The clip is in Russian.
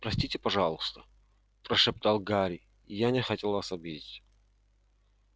простите пожалуйста прошептал гарри я не хотел вас обидеть